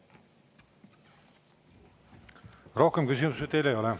Rohkem küsimusi teile ei ole.